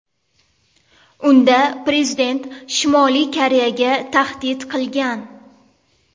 Unda prezident Shimoliy Koreyaga tahdid qilgan.